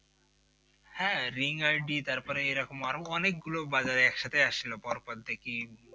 হ্যাঁ ring-id তারপরে এরকম আরো অনেক গুলো বাজারে একসাথে আসছিল পর পর দেখি